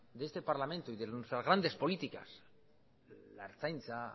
de este parlamento y de nuestras grande políticas la ertzaintza